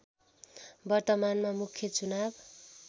वर्तमानमा मुख्य चुनाव